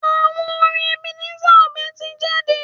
Àwo orin Ebenezer obey tí jáde.